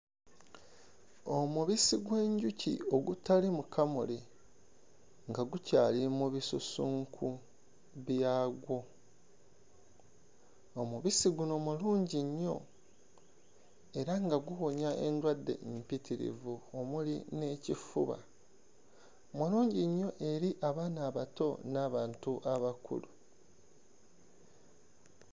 Omubisi gw'enjuki ogutali mukamule nga gukyali mu bisusunku byagwo. Omubisi guno mulungi nnyo era nga guwonya endwadde mpitirivu omuli n'ekifuba. Mulungi nnyo eri abaana abato n'abantu abakulu.